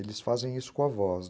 Eles fazem isso com a voz.